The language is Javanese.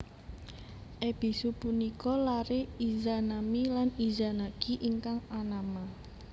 Ebisu punika lare Izanami lan Izanagi ingkang anama